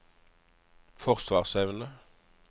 forsvarsevne